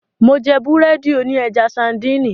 Mó jẹ́ búrẹ́dì òní ẹja sańdìnì.